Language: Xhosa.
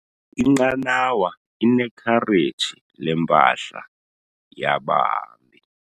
Inqanawa inekhareji lempahla yabahambi.